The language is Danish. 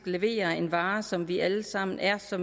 leverer en vare som vi alle sammen er så